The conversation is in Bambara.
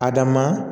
A da maa